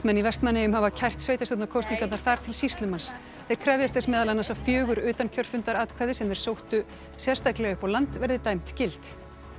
í Vestmannaeyjum hafa kært sveitarstjórnarkosningarnar þar til sýslumanns þeir krefjast þess meðal annars að fjögur utankjörfundaratkvæði sem þeir sóttu sérstaklega upp á land verði dæmd gild